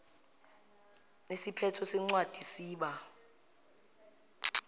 isiphetho sencwadi siba